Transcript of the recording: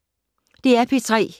DR P3